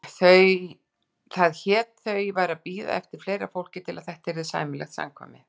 Það hét þau væru að bíða eftir fleira fólki til að þetta yrði sæmilegt samkvæmi.